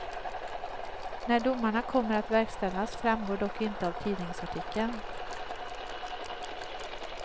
När domarna kommer att verkställas framgår dock inte av tidningsartikeln.